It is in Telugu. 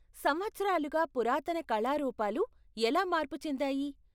సంవత్సరాలుగా పురాతన కళారూపాలు ఎలా మార్పు చెందాయి?